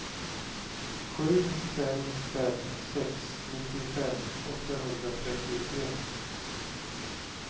sju fem fem sex nittiofem åttahundratrettiotre